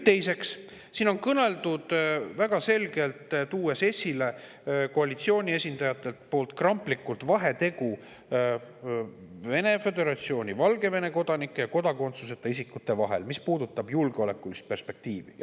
Teiseks, siin on väga selgelt kõneldud sellest, koalitsiooni esindajad on kramplikult esile toonud vahetegu Vene föderatsiooni ja Valgevene kodanike ning kodakondsuseta isikute vahel, mis puudutab julgeolekulist perspektiivi.